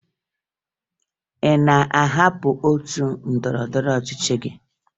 Ị na-ahapụ otu ndọrọndọrọ ọchịchị gị?